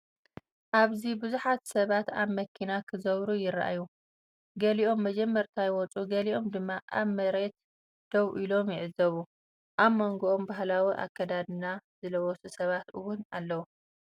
ኣብዚ ብዙሓት ሰባት ኣብ መኪና ክዝውሩ ይረኣዩ። ገሊኦም መጀመርታ ይወጹ ገሊኦም ድማ ኣብ መሬት ደው ኢሎም ይዕዘቡ። ኣብ መንጎኦም ባህላዊ ኣከዳድና ዝለበሱ ሰባት እውን ኣለዉ።